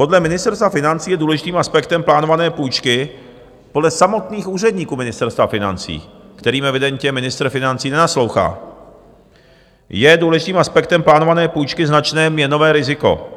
Podle Ministerstva financí je důležitým aspektem plánované půjčky, podle samotných úředníků Ministerstva financí, kterým evidentně ministr financí nenaslouchá, je důležitým aspektem plánované půjčky značné měnové riziko,